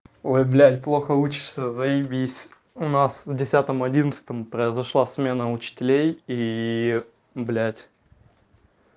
ой блядь плохо учишься заебись у нас в десятом одиннадцатом произошла смена учителей и блядь